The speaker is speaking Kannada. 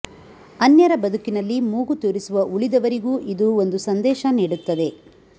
ಅನ್ಯರ ಬದುಕಿನಲ್ಲಿ ಮೂಗು ತೂರಿಸುವ ಉಳಿದವರಿಗೂ ಇದು ಒಂದು ಸಂದೇಶ ನೀಡುತ್ತದೆ